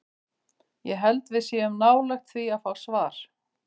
Ég held að við séum nálægt því að fá svar.